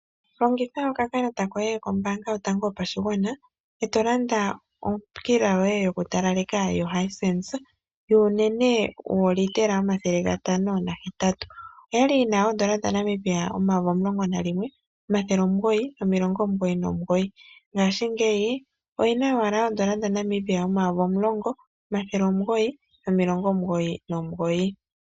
Longitha okakalata koye kombaanga yoyango yopashigwana, e to landa okila yoye yokutalaleka yoHisense, yuunene woolitela omathele gatano nahetatu. Oyali yi na oondola dhaNamibia omayovi omulongo nalimwe, omathele omugoyi, nomilongo omugoyi nomugoyi. Ngaashingeyi, oyi na owala oondola dhaNamibia omayovi omulongo, omathele omugoyi, nomilongo omugoyi nomugoyi.